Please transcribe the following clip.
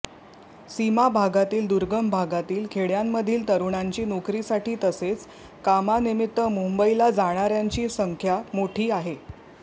सीमाभागातील दुर्गम भागातील खेडय़ांमधील तरुणांची नोकरीसाठी तसेच कामानिमित्त मुंबईला जाणाऱयांची संख्या मोठी आहे